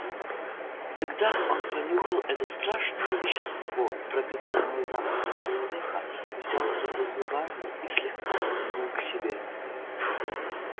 тогда он понюхал это страшное вещество пропитанное запахом человека взял его зубами и слегка потянул к себе